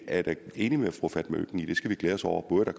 jeg er da enig med fru fatma øktem i at vi skal glæde os over det